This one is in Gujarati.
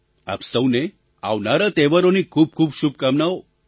આપ સહુને આવનારા તહેવારોની ખૂબ ખૂબ શુભકામનાઓ